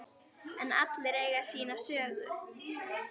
En allir eiga sína sögu.